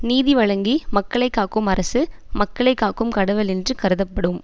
நீதிவழங்கி மக்களை காக்கும் அரசு மக்களை காக்கும் கடவுள் என்று கருதப்படும்